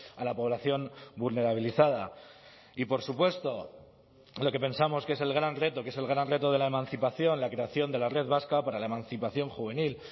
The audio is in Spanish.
a la población vulnerabilizada y por supuesto lo que pensamos que es el gran reto que es el gran reto de la emancipación la creación de la red vasca para la emancipación juvenil